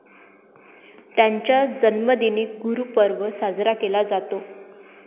त्यांच्या जन्मदिनी गुरूपर्व साजरा केला जातो.